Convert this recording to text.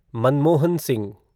Manmohan Singh